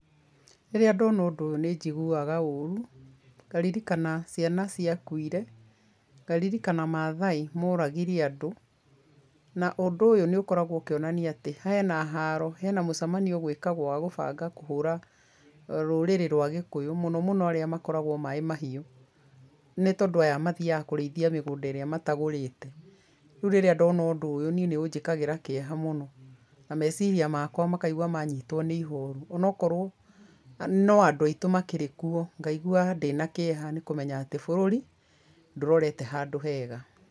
Rĩrĩa ndona ũndũ ũyũ nĩjiguaga ũrũ ngaririkana ciana ciakũire, ngaririkana mathai moragire andũ, na ũndũ ũyũ nĩũkoragwo ũkĩonania atĩ hena haro hena mũcemanio ũgwĩkagũo wakũbanga kũhũra rũrĩrĩ rwa gĩkuyũ mũno mũno arĩa makoragwo na Maĩ Mahiũ, nĩtondũ aya mathiaga kũrĩithia mĩgũnda ĩrĩa matagũrĩte, rĩu rĩrĩa ndona ũndũ ũyũ nĩũnjĩkagĩra kĩeha mũno na meciria makwa makaigũa manyitwa nĩ ihoru ona okorwo no andũ aitũ makĩrĩ kuo ngaigua ndĩna kĩeha ngamenya atĩ bũrũri ndũrorete handũ hega.